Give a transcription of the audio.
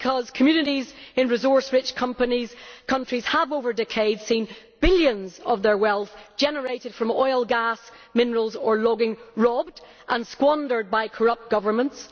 Because communities in resource rich countries have over decades seen billions of their wealth generated from oil, gas, minerals or logging robbed and squandered by corrupt governments.